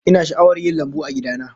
Ina sha'awar yin lambu a gida na